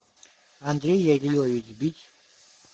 андрей ялилович бич